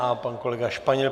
A pan kolega Španěl.